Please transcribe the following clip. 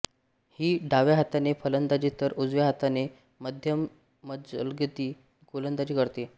ही डाव्या हाताने फलंदाजी तर उजव्या हाताने मध्यमजलदगती गोलंदाजी करते